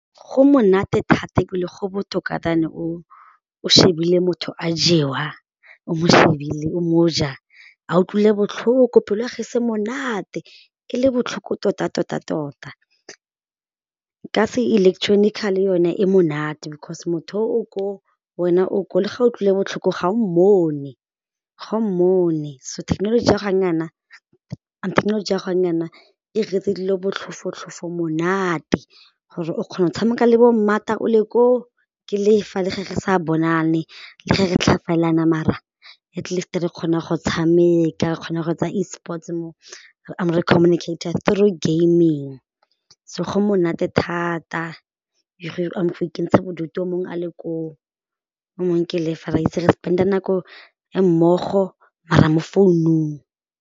Go monate thata ebile go botoka than o shebile motho a jewa o mo shebile o mo ja a utlwile botlhoko pelo ya gagwe monate e le botlhoko tota-tota-tota. Ka se electronical-e yone e monate because motho yo o koo wena o koo le ga utlwile botlhoko ga o mmone ga o mmone so thekenoloji ya gone jaanong jaana e re 'iretse dilo botlhofo-tlhofo monate gore o kgona go tshameka le bo o le koo ke le fa le ge re sa bonane le ge re mara atleast re kgona go tshameka re kgona go etsa E sports mo, re communicate-a through gaming so go monate thata go ikentsha bodutu o mongwe a le koo o mongwe ke le fa, re itse re spend-a nako re le mmogo mara mo founung.